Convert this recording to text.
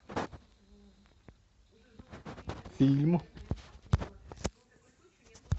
фильм